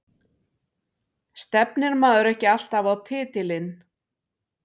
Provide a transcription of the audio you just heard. Stefnir maður ekki alltaf á titilinn?